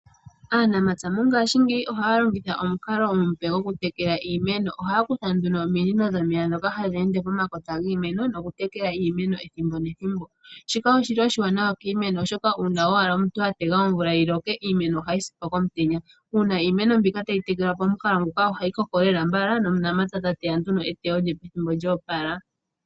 Aanamapya mongashingeyi ohaya longitha omukalo omupe gokutekela iimeno. Ohaya kutha nduno ominino ndhoka hadhi ende pomakota giimeno noku tekela iimeno ethimbo nethimbo, shika oshili oshiwana kiimeno oshoka uuna owala omuntu atega omvula yiloke iimeno ohayi sipo komutenya uuna iimeno mbika tayi tekelwa pamukalo nguka ohayi koko lela mbala nomunamapya tateya nduno eteyo lyopethimbo lyoopala.